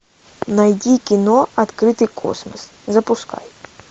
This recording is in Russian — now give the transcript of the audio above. найди кино открытый космос запускай